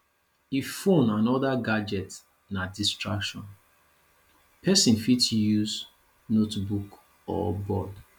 if phone and oda gadget na distraction person fit use notebook or board